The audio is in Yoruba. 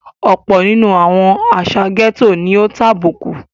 Ọ̀pọ̀ nínú àwọn àsà gẹ́tò ni ó tàbùkù.